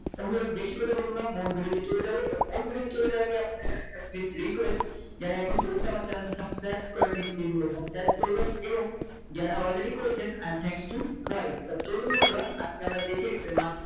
এখন ধরো বেশি কথা বলবো না মূল video তে চলে যাব তা মূল video তে চলে যাওয়ার আগে আপনাদের কাছে একটা request যারা এখনো পর্যন্ত আমার Channel টি subscribe করেনি Please এগুলো subscribe করবেন এবং যারা Already করেছেন I am thanks to for you তো চলুন বন্ধুরা আজকে আমরা দেখে দেই যে মাসিক